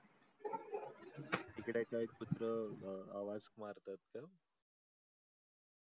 टिकडला एक कुत्र आवाज मारतात का?